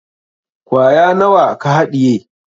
Kwaya nawa ka haɗiye?